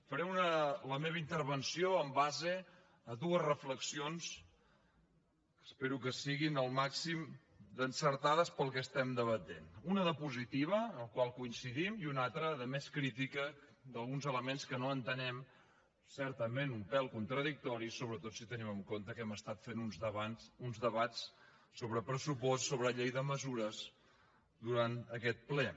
faré la meva intervenció en base a dues reflexions que espero que siguin al màxim d’encertades per al que estem debatent una de positiva en la qual coincidim i una altra de més crítica d’alguns elements que no entenem certament un pèl contradictoris sobretot si tenim en compte que hem estat fent uns debats sobre pressupost sobre llei de mesures durant aquest ple